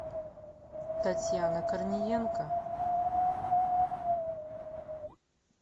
татьяна корниенко